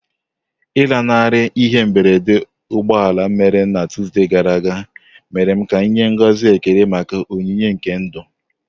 Ịlanarị ihe mberede ụgbọ ala mere na Tuesday gara aga mere ka m nye ngọzi ekele maka onyinye nke ndụ.